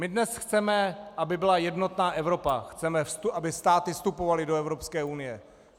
My dnes chceme, aby byla jednotná Evropa, chceme, aby státy vstupovaly do Evropské unie.